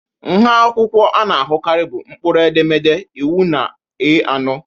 Nha akwụkwọ ndị a na-ahụkarị bụ mkpụrụedemede, iwu na A ano.